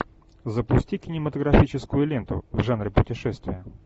запусти кинематографическую ленту в жанре путешествия